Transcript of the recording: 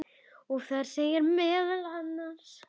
og þar segir meðal annars